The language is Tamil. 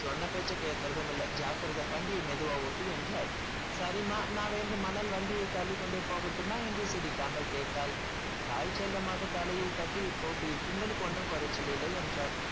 சொன்ன பேச்சைக் கேட்கிறதும் இல்லை ஜாக்கிரதை வண்டிய மெதுவா ஓட்டு என்றார் சரிம்மா நான் வேண்டுமானால் வண்டியை தள்ளிக்கொண்டே போகட்டுமா என்று சிரிக்காமல் கேட்டாள் தாய் செல்லமாக தலையில் தட்டி போக்கிரி கிண்டலுக்கு ஒண்ணும் குறைச்சல் இல்லை என்றார்